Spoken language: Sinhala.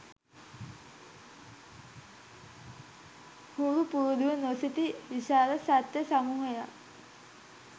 හුරු පුරුදුව නොසිටි විශාල සත්ව සමූහයක්